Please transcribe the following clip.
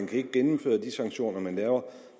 kan gennemføre de sanktioner man laver